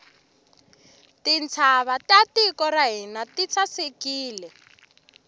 tintshava ta tiko ra hina ti sasekile